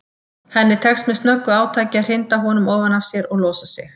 Henni tekst með snöggu átaki að hrinda honum ofan af sér og losa sig.